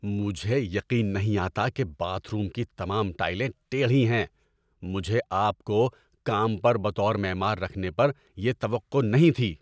مجھے یقین نہیں آتا کہ باتھ روم کی تمام ٹائلیں ٹیڑھی ہیں! مجھے آپ کو کام پر بطور معمار رکھنے پر یہ توقع نہیں تھی۔